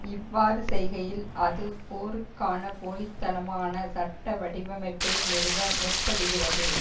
இவ்வாறு செய்கையில் அது போருக்கான போலி தனமான சட்ட வடிவமைப்பை நிறுவ முற்படுகிறது